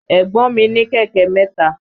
Ẹ̀gbọ́n mi ní kẹ̀kẹ́ mẹ́ta.